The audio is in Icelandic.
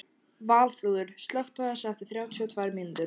Valþrúður, slökktu á þessu eftir þrjátíu og tvær mínútur.